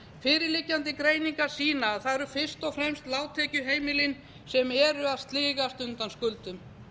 fyrirliggjandi greiningar sýna að það eru fyrst og fremst lágtekjuheimilin sem eru að sligast undan skuldum